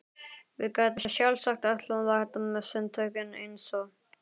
Við gætum sjálfsagt öll lært sundtökin eins og